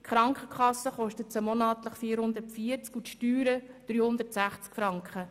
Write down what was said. die Krankenkasse kostet sie monatlich 440 Franken und die Steuern 360 Franken.